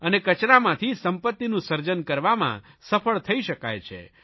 અને કચરામાંથી સંપત્તિનું સર્જન કરવામાં સફળ થઇ શકાય છે